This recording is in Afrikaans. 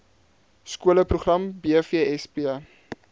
skole program bvsp